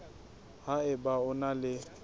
ha eba o na le